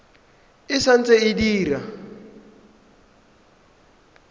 e sa ntse e dira